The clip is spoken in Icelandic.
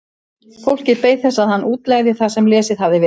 Fólkið beið þess að hann útlegði það sem lesið hafði verið.